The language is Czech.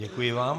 Děkuji vám.